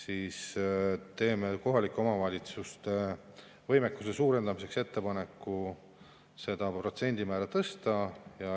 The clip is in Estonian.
Me teeme kohalike omavalitsuste võimekuse suurendamiseks ettepaneku seda protsendimäära tõsta.